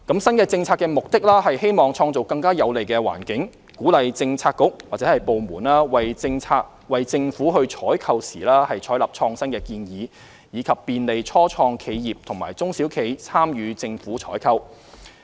新政策的目的，是希望創造更有利的環境，鼓勵政策局/部門為政府採購時採納創新建議，以及便利初創企業和中小企參與政府採購。